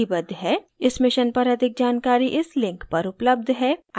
इस mission पर अधिक जानकारी इस link पर उपलब्ध है